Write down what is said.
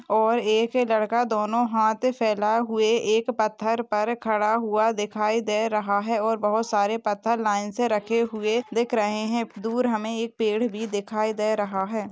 और एक लड़का दोनो हाथ फैलाए हुए एक पत्थर पर खड़ा हुआ दिखाई दे रहा है और बहुत सारे पत्थर लाइन से रखे हुए दिख रहे हैं दूर हमें एक पेड़ भी दिखाई दे रहा है।